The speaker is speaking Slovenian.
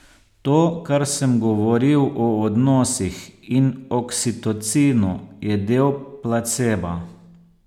To, kar sem govoril o odnosih in oksitocinu, je del placeba.